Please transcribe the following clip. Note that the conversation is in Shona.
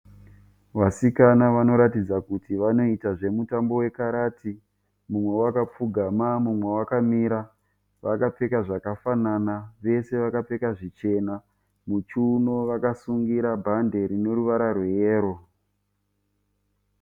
Vasikana vanoratidza kuti vanoita zvemutambo wekarati. Mumwe wakapfugama mumwe wakamira. Vakapfeka zvakafanana. Vese vakapfeka zvichena. Muchiuno vakasungira bhande rineruvara rweyero.